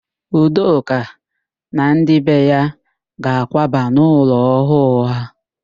Udoka na ndị be ya ga-akwaba n'ụlọ ọhụụ ha.